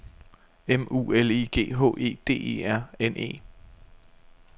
M U L I G H E D E R N E